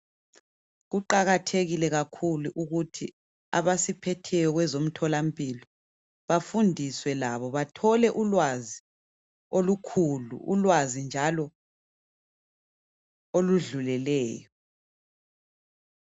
Kuqakathekile kakhulu ukuthi abasiphetheyo kwezomtholampilo bafundiswe labo, bathole ulwazi okukhulu, ulwazi njalo oludluleleyo.